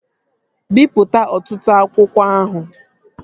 Bipụta ọtụtụ akwụkwọ ahụ!